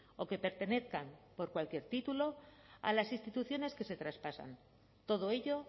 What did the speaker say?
o que pertenezcan por cualquier título a las instituciones que se traspasan todo ello